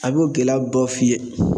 A b'o gɛlɛya dɔ f'i ye